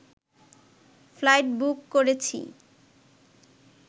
flight book করেছি